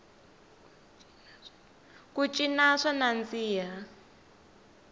ku cina swa nandziha